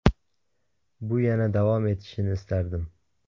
Bu yana davom etishini istardim.